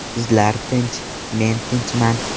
Sizlar tinch, men tinchman.